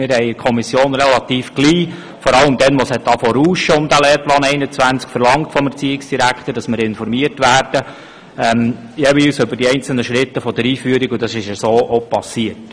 Ziemlich bald, vor allem, als es um den Lehrplan 21 ein wenig zu rauschen begann, verlangten wir vom Erziehungsdirektor, dass wir jeweils über die einzelnen Schritte der Einführung informiert werden, und das ist dann auch so geschehen.